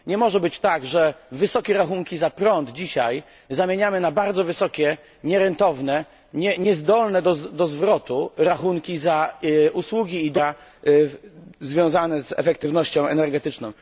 Nie może być tak, że wysokie rachunki za prąd dzisiaj zamieniamy na bardzo wysokie nierentowne, niezdolne do zwrotu rachunki za usługi i dobra związane z efektywnością energetyczną.